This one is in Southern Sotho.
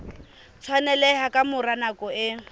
tshwaneleha ka mora nako e